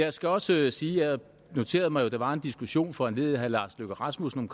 jeg skal også sige at jeg noterede mig at der var en diskussion foranlediget af herre lars løkke rasmussen